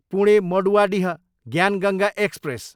Pune, Maduadih Gyan Ganga express